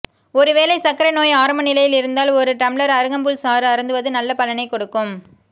ஒருவேளை சர்க்கரை நோய் ஆரம்ப நிலையில் இருந்தால் ஒரு டம்ளர் அருகம்புல் சாறு அருந்துவது நல்ல பலனை கொடுக்கும்